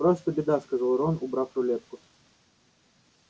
просто беда сказал рон убрав рулетку